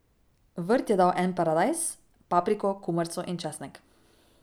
Vrt je dal en paradajz, papriko, kumarco in česnek.